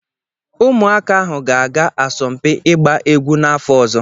Ụmụaka ahụ ga-aga asọmpi ịgba egwu n'afọ ọzọ.